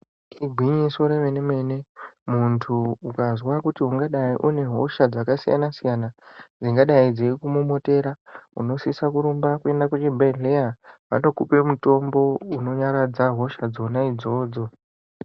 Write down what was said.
Igwinyiso remene mene muntu ukazwa kuti ungadai une hosha dzakasiyana siyana dzingadai dzeikumomotera unosise kurumba kuenda kuchibhedhleya vanokupe mutombo unonyaradza hosha dzona idzodzo.